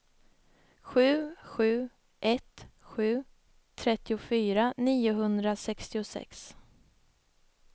sju sju ett sju trettiofyra niohundrasextiosex